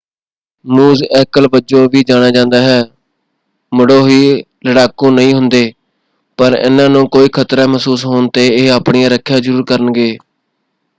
ਮੂਜ਼ ਐਕਲ ਵਜੋਂ ਵੀ ਜਾਣਿਆ ਜਾਂਦਾ ਹੈ ਮੁੱਢੋਂ ਹੀ ਲੜਾਕੂ ਨਹੀਂ ਹੁੰਦੇ ਪਰ ਇਹਨਾਂ ਨੂੰ ਕੋਈ ਖਤਰਾ ਮਹਿਸੂਸ ਹੋਣ ‘ਤੇ ਇਹ ਆਪਣੀ ਰੱਖਿਆ ਜ਼ਰੂਰ ਕਰਨਗੇ।